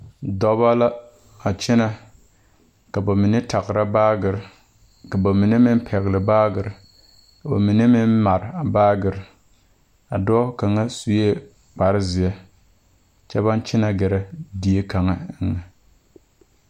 Dɔba la a kyɛnɛ ka ba mine tagra baagere ka ba mine meŋ pɛgle baagere ka ba mine meŋ mare a baagere a dɔɔ kaŋa sue kparezeɛ kyɛ baŋ kyɛnɛ gɛrɛ die kaŋa eŋɛ.